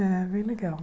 É, bem legal.